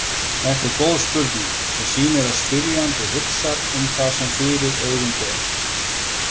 Þetta er góð spurning sem sýnir að spyrjandi hugsar um það sem fyrir augu ber.